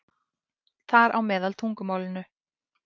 Þar á meðal tungumálinu.